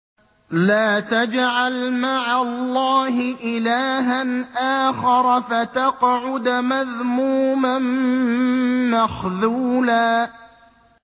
لَّا تَجْعَلْ مَعَ اللَّهِ إِلَٰهًا آخَرَ فَتَقْعُدَ مَذْمُومًا مَّخْذُولًا